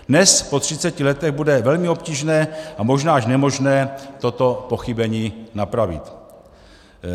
Dnes, po 30 letech, bude velmi obtížné a možná až nemožné toto pochybení napravit.